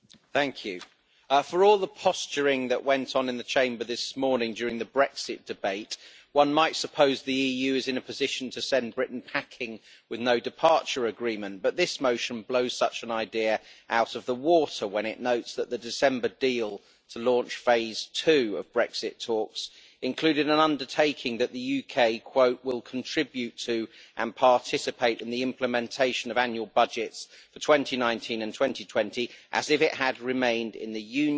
Mr President, for all the posturing that went on in the Chamber this morning during the Brexit debate, one might suppose that the EU is in a position to send Britain packing with no departure agreement. However, this motion blows such an idea out of the water when it notes that the December deal to launch phase two of Brexit talks included an undertaking that the UK will contribute to and participate in the implementation of annual budgets for 2019 and 2020 as if it had remained in the Union'.